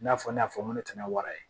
I n'a fɔ ne y'a fɔ n ko tɛ n'a wara ye